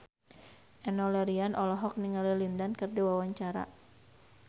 Enno Lerian olohok ningali Lin Dan keur diwawancara